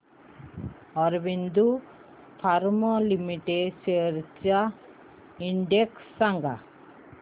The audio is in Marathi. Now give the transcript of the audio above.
ऑरबिंदो फार्मा लिमिटेड शेअर्स चा इंडेक्स सांगा